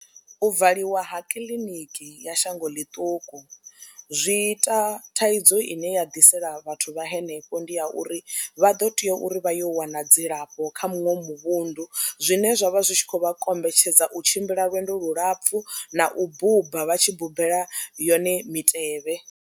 U valiwa ha kiḽiniki ya shango ḽiṱuku zwi ita thaidzo ine ya ḓisela vhathu vha henefho ndi ya uri vha ḓo tea uri vha yo wana dzilafho kha muṅwe muvhundu zwine zwa vha zwi tshi khou vha kombetshedza u tshimbila lwendo lulapfhu na u buba vha tshi bubela yone mitevhe.